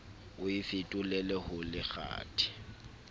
o e fetolele ho lekgathe